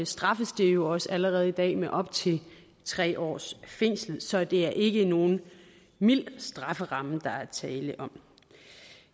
straffes det jo også allerede i dag med op til tre års fængsel så det er ikke nogen mild strafferamme der er tale om